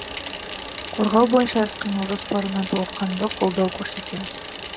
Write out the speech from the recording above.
қорғау бойынша іс қимыл жоспарына толыққанды қолдау көрсетеміз